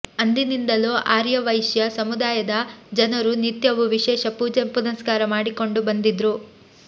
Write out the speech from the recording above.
ಅಂದಿನಿಂದಲೂ ಆರ್ಯ ವೈಶ್ಯ ಸಮುದಾಯದ ಜನರು ನಿತ್ಯವೂ ವಿಶೇಷ ಪೂಜೆ ಪುನಸ್ಕಾರ ಮಾಡಿಕೊಂಡು ಬಂದಿದ್ರು